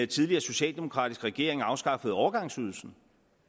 tidligere socialdemokratiske regering afskaffede overgangsydelsen